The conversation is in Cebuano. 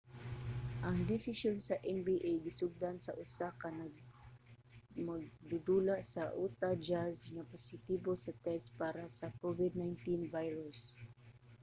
ang desisyon sa nba gisundan sa usa ka magdudula sa utah jazz nga positibo sa test para sa covid-19 virus